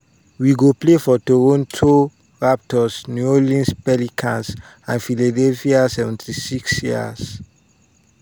wey go play for toronto raptors new orleans pelicans and philadelphia 76ers.